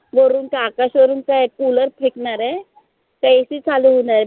वरून काय आकाशा वरून काय cooler फेकनार आय? का AC चालू होणार आय?